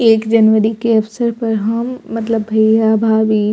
एक जनवरी के अवसर पर हम मतलब भैया भाभी --